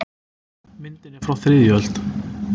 Myndin er frá þriðju öld.